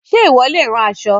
Ǹjẹ́ ìwọ leè rán aṣọ